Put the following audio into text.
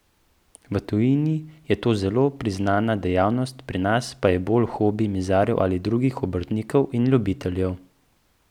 V tujini je to zelo priznana dejavnost, pri nas pa bolj hobi mizarjev ali drugih obrtnikov in ljubiteljev.